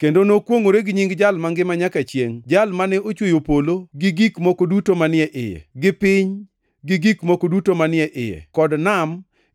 Kendo nokwongʼore gi nying Jal mangima nyaka chiengʼ, Jal mane ochweyo polo gik moko duto manie iye, gi piny gi gik moko duto manie iye, kod nam